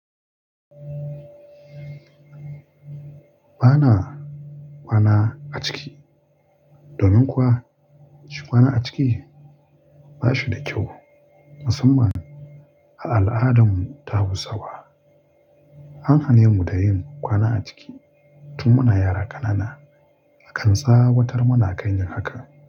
Ba na kwana a ciki domin kuwa kwana a ciki ba shi da kyau, musamman a al'adammu ta Hausawa. An hane mu da yin kwana a ciki tun muna yara ƙanana, akan tsawatar muna kan yin haka.